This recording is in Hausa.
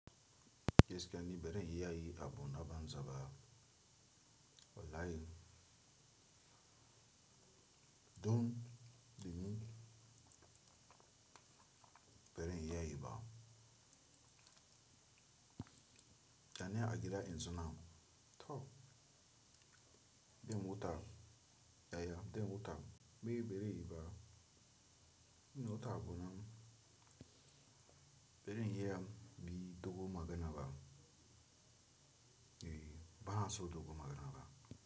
Gaskiya ni bere iyayi abona banza ba. Wallahi dun bi ni bere iyayi ba. Ya ne agida in zona toh. Be mota yaya, be mota be bere yi ba. Nota bonam bere hiyam bi dogo magana ba. E, bahaso dogo magana ba.